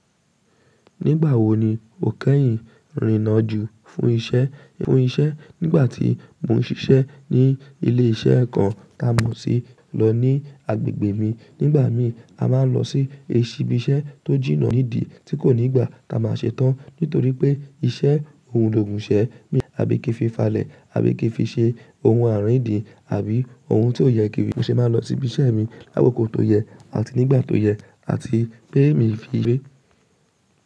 Nígbà wo ni o kẹ́yìn rìnna ju fún isẹ́ fún isẹ́? Nígbà tí mo ń sisẹ́ ní ilé isẹ́ kan tá mọ̀ sí lọ ní agbègbè mi. Nígbà mii a máa ń lọ sí ish ibi isẹ́ tó jìnnà nídìí tí kò ní gbà tá a máa se tán nítorí pé iṣẹ́ oun logùnsẹ́ mi àbí kí n fi falẹ̀ àbí kí fi ṣe ohun àárín ìdin àbí ohun tò yẹ kíiri mo se máa n lọ sí ibise mi lákòókò tó yẹ àti nígbà tó yẹ àti pe mi íw.